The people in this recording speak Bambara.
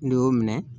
N'i y'o minɛ